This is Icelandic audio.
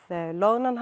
loðnan